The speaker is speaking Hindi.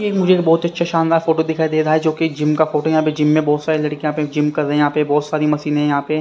ये एक मुझे बहुत अच्छा शानदार फोटो दिखाई दे रहा है जो कि जिम का फोटो है यहां पे जिम में बहुत सारी लड़कियां यहां पे जिम कर रही यहां पे बहुत सारी मशीनें हैं यहां पे।